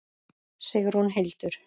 Sigrún Hildur.